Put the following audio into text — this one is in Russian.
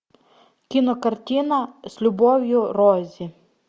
кинокартина с любовью рози